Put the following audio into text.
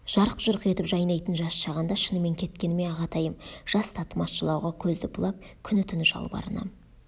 жарқ-жұрқ етіп жайнайтын жас шағында шынымен кеткені ме ағатайым жас татымас жылауға көзді бұлап күні-түні жалбарынам